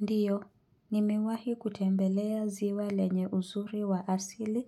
Ndiyo, nimewahi kutembelea ziwa lenye uzuri wa asili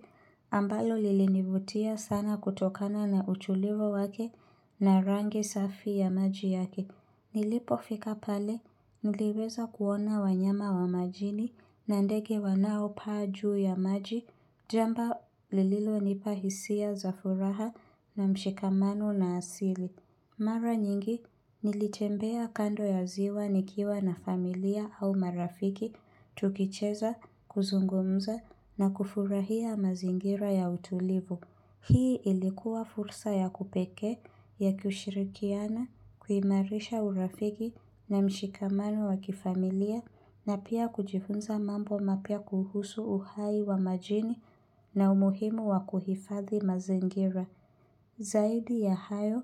ambayo lilinivutia sana kutokana na uchulivu wake na rangi safi ya maji yake. Nilipofika pale, niliweza kuona wanyama wa majini na ndege wanaopaa juu ya maji, jamba lililonipa hisia za furaha na mshikamano na asili. Mara nyingi, nilitembea kando ya ziwa nikiwa na familia au marafiki, tukicheza, kuzungumza na kufurahia mazingira ya utulivu. Hii ilikuwa fursa ya kupekee, ya kushirikiana, kuimarisha urafiki na mshikamano wa kifamilia na pia kujifunza mambo mapya kuhusu uhai wa majini na umuhimu wa kuhifadhi mazingira. Zaidi ya hayo,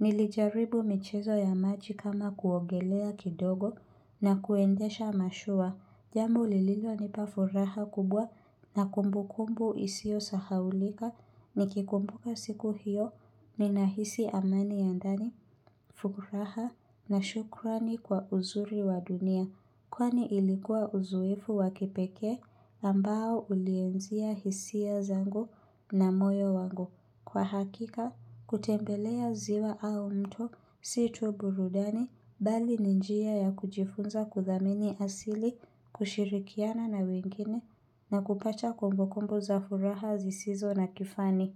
nilijaribu michezo ya maji kama kuogelea kidogo na kuendesha mashua. Jambu lililonipa furaha kubwa na kumbu kumbu isio sahaulika. Nikikumbuka siku hiyo, ninahisi amani ya ndani, furaha na shukrani kwa uzuri wa dunia. Kwani ilikuwa uzoefu wa kipekee ambao ulienzia hisia zangu na moyo wangu. Kwa hakika, kutembelea ziwa au mto, si tu burudani, bali ni njia ya kujifunza kuthamini asili, kushirikiana na wengine, na kupacha kumbukumbu za furaha zisizo na kifani.